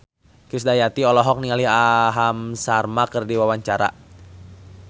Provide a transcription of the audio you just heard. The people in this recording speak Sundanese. Krisdayanti olohok ningali Aham Sharma keur diwawancara